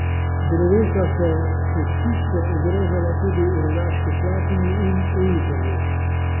Drevesa so cestišče ogrožala tudi v Rogaški Slatini in v Izoli.